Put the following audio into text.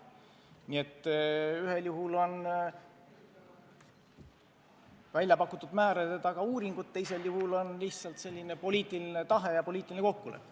Nii et ühel juhul on välja pakutud määrade taga uuringud, teisel juhul lihtsalt poliitiline tahe, poliitiline kokkulepe.